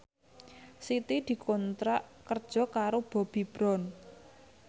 Siti dikontrak kerja karo Bobbi Brown